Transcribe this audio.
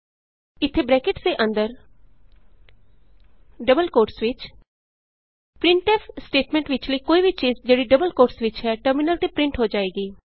ਇਥੇ ਬਰੈਕਟਸ ਦੇ ਅੰਦਰ ਡਬਲ ਕੋਟਸ ਵਿਚ ਪ੍ਰਿੰਟਫ ਸਟੇਟਮੈਂਟ ਵਿਚਲੀ ਕੋਈ ਵੀ ਚੀਜ ਜਿਹੜੀ ਡਬਲ ਕੋਟਸ ਵਿਚ ਹੈ ਟਰਮਿਨਲ ਤੇ ਪਰਿੰਟ ਹੋ ਜਾਏਗੀ